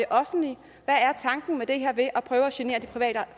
offentlige hvad er tanken med at prøve at genere de